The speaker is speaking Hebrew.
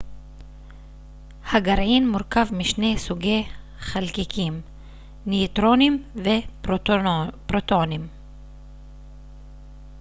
הגרעין מורכב משני סוגי חלקיקים ניוטרונים ופרוטונים